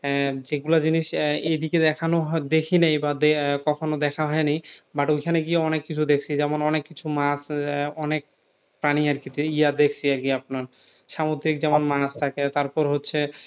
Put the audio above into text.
আহ যেগুলা জিনিস আহ এইদিকে দেখানো দেখি নাই বা দে আহ কখনো দেখা হয়নি but ওইখানে গিয়ে অনেক কিছু দেখছি যেমন অনেক কিছু মাছ আহ অনেক প্রানি আরকি ইয়া দেখছি আর কি আপনার সামুদ্রিক যেমন মাছ থাকে তারপর হচ্ছে